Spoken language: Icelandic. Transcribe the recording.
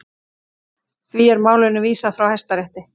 Því er málinu vísað frá Hæstarétti